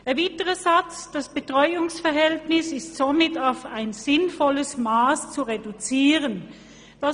Das Postulat verlangt zudem, dass das Betreuungsverhältnis auf ein sinnvolles Mass zu reduzieren sei.